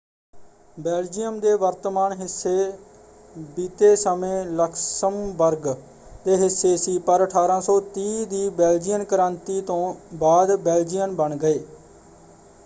Belgium ਦੇ ਵਰਤਮਾਨ ਹਿੱਸੇ ਬੀਤੇ ਸਮੇਂ ਲਕਸਮਬਰਗ ਦੇ ਹਿੱਸੇ ਸੀ ਪਰ 1830 ਦੀ ਬੇਲਜੀਅਨ ਕ੍ਰਾਂਤੀ ਤੋਂ ਬਾਅਦ ਬੇਲਜੀਅਨ ਬਣ ਗਏ।